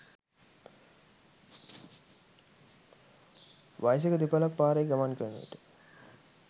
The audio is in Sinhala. වයසක දෙපළක් පාරේ ගමන් කරන විට